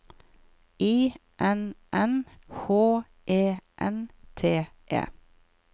I N N H E N T E